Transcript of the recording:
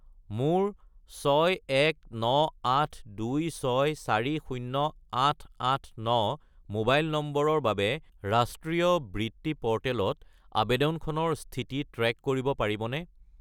মোৰ 61982640889 মোবাইল নম্বৰৰ বাবে ৰাষ্ট্ৰীয় বৃত্তি প'ৰ্টেলত আবেদনখনৰ স্থিতি ট্ৰে'ক কৰিব পাৰিবনে?